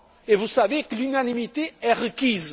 Or vous savez que l'unanimité est requise.